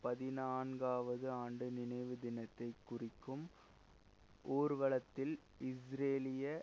பதினான்காவது ஆண்டு நினைவு தினத்தைக் குறிக்கும் ஊர்வலத்தில் இஸ்ரேலிய